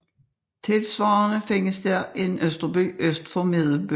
Tilsvarende findes der en Østerby øst for Medelby